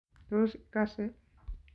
Tos ikose?